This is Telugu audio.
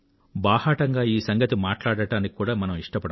బాహాటంగా ఈ సంగతి మాట్లాడడానికి కూడా మనం ఇష్టపడం